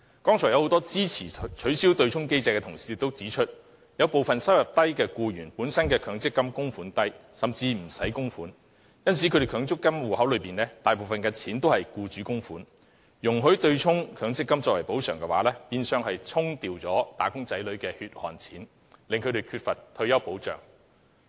剛才很多支持取消對沖機制的同事都指出，有部分低收入僱員本身的強積金供款額低，甚至不用供款，因此他們強積金戶口大部分是僱主供款，容許將強積金供款用作對沖，變相是令"打工仔女"失去他們的"血汗錢"，令他們缺乏退休保障。